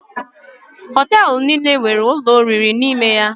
Hoteelu niile nwere ụlọ oriri n’ime ya